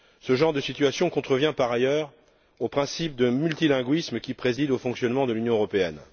Ce genre de situation contrevient, par ailleurs, au principe de multilinguisme qui préside au fonctionnement de l'Union européenne.